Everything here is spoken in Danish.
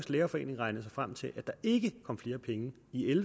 ikke